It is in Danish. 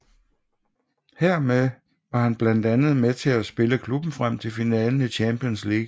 Her var han blandt andet med til at spille klubben frem til finalen i Champions League